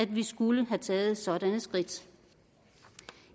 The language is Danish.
vi skulle have taget sådanne skridt